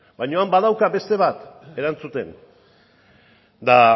baina han badauka beste bat erantzuten eta